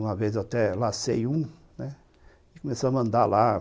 Uma vez eu até lacei um, né, e começamos a andar lá.